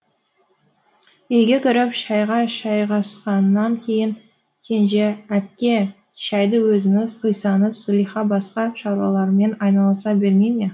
үйге кіріп шайға жайғасқаннан кейін кенже әпке шайды өзіңіз құйсаңыз зылиха басқа шаруаларымен айналыса бермей ме